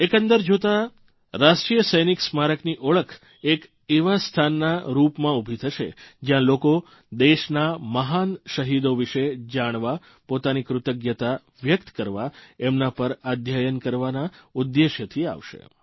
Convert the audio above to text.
એકંદર જોતાં રાષ્ટ્રીય સૈનિક સ્મારકની ઓળખ એક એવા સ્થાનના રૂપમાં ઉભી થશે જયાં લોકો દેશના મહાન શહીદો વિશે જાણવા પોતાની કૃતજ્ઞતા વ્યકત કરવા એમના પર અધ્યયન કરવાના ઉદ્દેશ્યથી આવશે